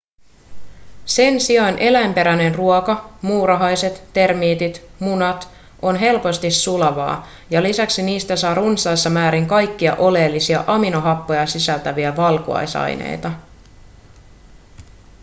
sen sijaan eläinperäinen ruoka muurahaiset termiitit munat on helposti sulavaa ja lisäksi niistä saa runsaissa määrin kaikkia oleellisia aminohappoja sisältäviä valkuaisaineita